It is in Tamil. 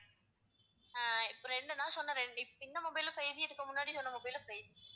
அஹ் இப்ப ரெண்டு நான் சொன்ன ரெண்டு இப்~ இந்த mobile உம் five G இதுக்கு முன்னாடி சொன்ன mobile உம் five G